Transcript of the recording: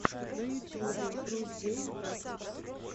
на ютюбе рус гейм тактикс